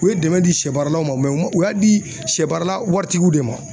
U ye dɛmɛ di sɛ baaralaw ma u y'a di sɛ baarala waritigiw de ma.